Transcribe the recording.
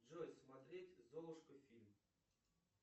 джой смотреть золушка фильм